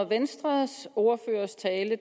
venstres ordførers tale